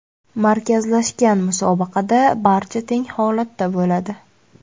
Markazlashgan musobaqada barcha teng holatda bo‘ladi.